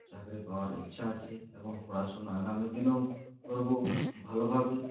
চাকরি পাওয়ার ইচ্ছা আছে এবং পড়াশোনা আগামী দিনেও করবো ভালোভাবেই